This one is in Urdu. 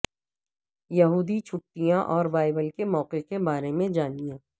یہودی چھٹیاں اور بائبل کے موقعوں کے بارے میں جانیں